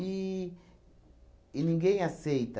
e ninguém aceita.